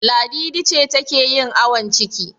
Ladidi ce take yin awon ciki.